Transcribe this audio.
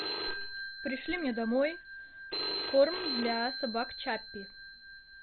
пришли мне домой корм для собак чаппи